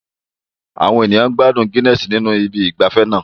Àwọn ènìyàn ń gbádùn Guinness ní ibi ìgbafẹ́ náà